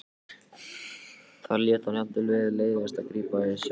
Þar lét hann jafnvel til leiðast að grípa í sellóið.